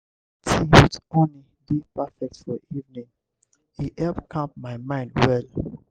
tea with honey dey perfect for evening; e help calm my mind well.